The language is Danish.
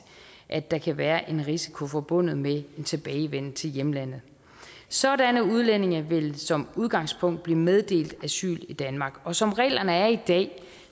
at der kan være en risiko forbundet med en tilbagevenden til hjemlandet sådanne udlændinge vil som udgangspunkt blive meddelt asyl i danmark og som reglerne er i dag